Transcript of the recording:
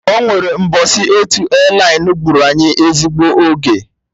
Ọnwere mbọsị otu élaịnụ gburu anyị ezigbo oge